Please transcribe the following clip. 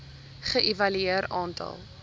ge evalueer aantal